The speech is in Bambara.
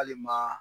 Hali ma